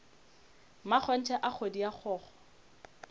mmakgonthe a kgodi a kgokgo